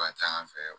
Ka ca an fɛ yan